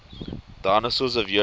dinosaurs of europe